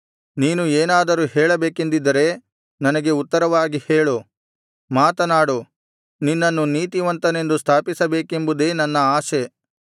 ನೀನು ಏನಾದರೂ ಹೇಳಬೇಕೆಂದಿದ್ದರೆ ನನಗೆ ಉತ್ತರವಾಗಿ ಹೇಳು ಮಾತನಾಡು ನಿನ್ನನ್ನು ನೀತಿವಂತನೆಂದು ಸ್ಥಾಪಿಸಬೇಕೆಂಬುದೇ ನನ್ನ ಆಶೆ